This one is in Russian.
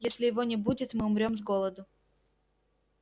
если его не будет мы умрём с голоду